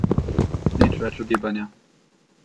Nič več ugibanja.